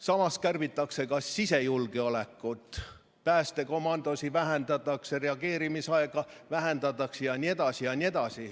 Samas kärbitakse ka sisejulgeolekut, näiteks päästekomandosid vähendatakse, reageerimisaega vähendatakse, ja nii edasi.